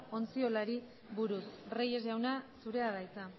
ontziolari buruz reyes jauna zurea da hitza